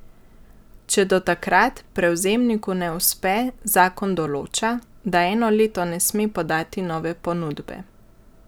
Če do takrat prevzemniku ne uspe, zakon določa, da eno leto ne sme podati nove ponudbe.